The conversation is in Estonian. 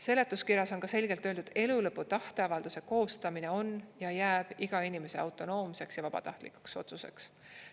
Seletuskirjas on ka selgelt öeldud: elulõpu tahteavalduse koostamine on ja jääb iga inimese autonoomseks ja vabatahtlikuks otsuseks.